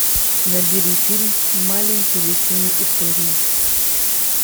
набери фильм маленькие лесные истории